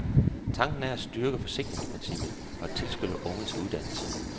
Tanken er at styrke forsikringsprincippet og at tilskynde unge til uddannelse.